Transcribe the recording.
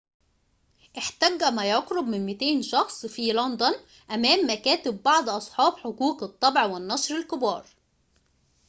احتج ما يقرب من 200 شخص في لندن أمام مكاتب بعض أصحاب حقوق الطبع والنشر الكبار